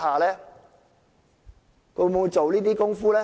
它會否做這些工夫呢？